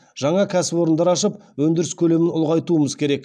жаңа кәсіпорындар ашып өндіріс көлемін ұлғайтуымыз керек